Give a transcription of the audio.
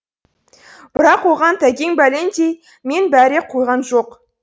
бірақ оған тәкең бәлендей мен бәре қойған жоқ